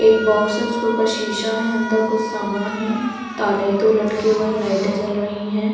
एक बॉक्स है उसके ऊपर शीशा है अंदर कुछ सामान है ताले हैं दो लटके हुए हैं लाइटें जल रही है।